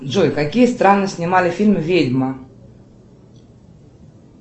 джой какие страны снимали фильм ведьма